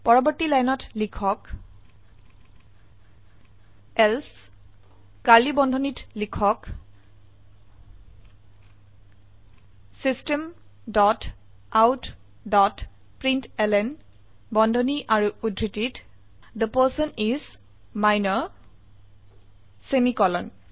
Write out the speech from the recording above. পৰবৰ্তী লাইনত লিখক এলছে নহলে কাৰ্ড়লী বন্ধনীত লিখক system dot out dot println বন্ধনী আৰু উদ্ধৃতিত the person is minor semicolon